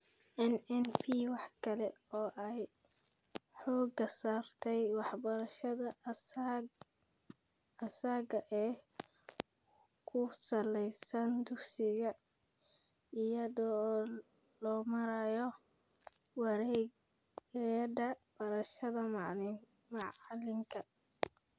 NNP waxa kale oo ay xooga saartaa waxbarashada asaaga ee ku salaysan dugsiga, iyada oo loo marayo wareegyada barashada macalinka (TLCs).